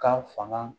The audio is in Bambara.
Kan fanga